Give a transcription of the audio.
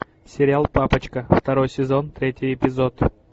сериал папочка второй сезон третий эпизод